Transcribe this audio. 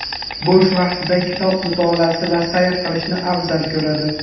Bo‘sh vaqtida kitob mutolaasi va sayr qilishni afzal ko‘radi.